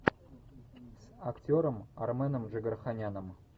с актером арменом джигарханяном